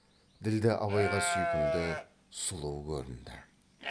ділдә абайға сүйкімді сұлу көрінді